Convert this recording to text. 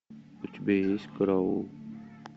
у тебя есть караул